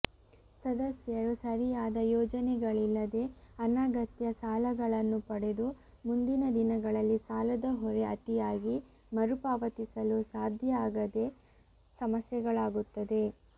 ಸದಸ್ಯರು ಸರಿಯಾದ ಯೋಜನೆಗಳಿಲ್ಲದೆ ಅನಗತ್ಯ ಸಾಲಗಳನ್ನು ಪಡೆದು ಮುಂದಿನ ದಿನಗಳಲ್ಲಿ ಸಾಲದ ಹೊರೆ ಅತಿಯಾಗಿ ಮರುಪಾವತಿಸಲು ಸಾದ್ಯ ಆಗದೇ ಸಮಸ್ಯೆಗಳಾಗುತ್ತದೆ